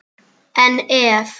En ef?